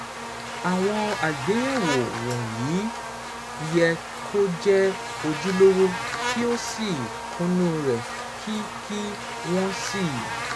Àwọn àgbéyẹ̀wò wọ̀nyí yẹ kí ó jẹ́ ojúlówó, kí ó sì kúnnú rẹ̀, kí kí wọ́n sì